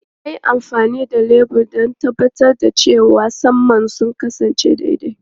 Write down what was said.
Ya yi amfani da lebur don tabbatar da cewa saman sun kasance daidai.